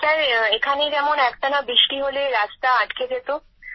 sir এখানে যেমন একটানা বৃষ্টি হলে রাস্তা বন্ধ হয়ে যায়